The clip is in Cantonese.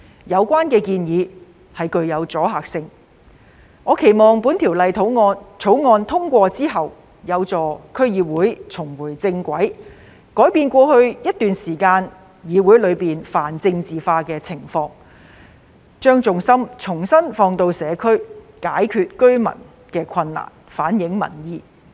有關建議具有阻嚇力，我期望《條例草案》通過後，有助區議會重回正軌，改變過去一段時間議會泛政治化的情況，把重心重新放在社區，解決居民的困難，反映民意。